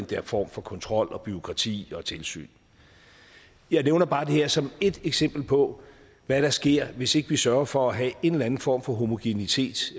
der form for kontrol og bureaukrati og tilsyn jeg nævner bare det her som ét eksempel på hvad der sker hvis ikke vi sørger for at have en eller en form for homogenitet